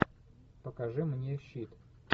покажи мне щит